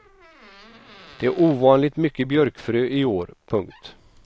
Det är ovanligt mycket björkfrö i år. punkt